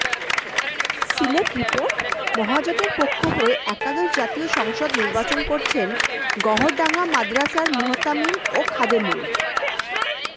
Sylhet report মহাজোটের পক্ষ হয়ে একাদশ জাতীয় সংসদ নির্বাচন করছেন গওহরডাঙ্গা মাদরাসার মুহতামিম ও খাদেমুল